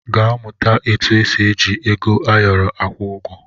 Gaa mụta etu esi eji ego ayọrọ akwụ ụgwọ!